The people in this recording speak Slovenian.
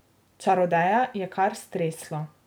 Čarodeja je kar streslo.